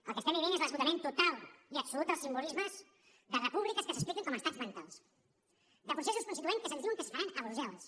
el que estem vivint és l’esgotament total i absolut dels simbolismes de repúbliques que s’expliquen com a estats mentals de processos constituents que se’ns diu que es faran a brussel·les